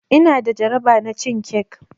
Ina da jaraba na cin cake.